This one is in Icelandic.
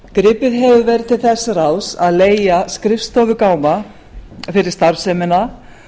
gripið hefur verið til þess ráðs að leigja skrifstofugáma fyrir starfsemina